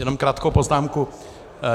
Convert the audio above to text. Jenom krátkou poznámku.